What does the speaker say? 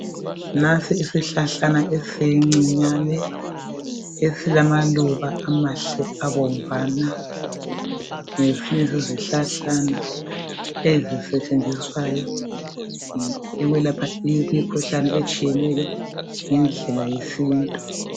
Nansi isihlahlana esincinyane esilamaluba amahle abomvana. Ngesinye sezihlahlana ezisetshenziswayo ukwelapha imikhuhlane etshiyeneyo ngendlela yesintu.